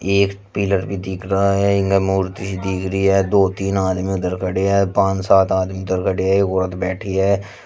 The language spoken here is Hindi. एक पिलर भी दिख रहा है मूर्ति दिख रही है दो तीन आदमी उधर खड़े है पान सात आदमी इधर खड़े है एक औरत भी बैठी है।